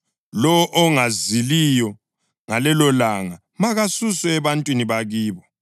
Lowo ongaziliyo ngalelolanga makasuswe ebantwini bakibo.